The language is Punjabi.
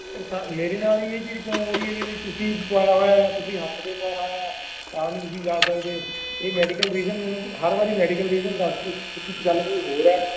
ਤੇ ਸਾਰ ਮੇਰੇ ਨਾਲ ਹੀ ਇਹ ਚੀਜ਼ ਕਿਉਂ ਹੋ ਰਹੀ ਆ ਵੀ ਤੁਸੀਂ ਪਵਾਇਆ ਹੋਇਆ ਆ ਜਾਂ ਤੁਸੀਂ ਹੱਥ ਤੇ ਪਵਾਇਆ ਹੋਇਆ ਆ ਤਾਂ ਨੀ ਤੁਸੀਂ ਜਾ ਸਕਦੇ ਇਹ medical reason ਮੈਂਨੂੰ ਹਰ ਵਾਰੀ medical reason ਦਸਦੇ ਨੇ ਪਰ ਗੱਲ ਕੋਈ ਹੋਰ ਆ